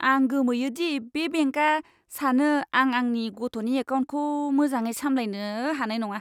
आं गोमोयो दि बे बेंकआ सानो आं आंनि गथ'नि एकाउन्टखौ मोजाङै सामलायनो हानाय नङा।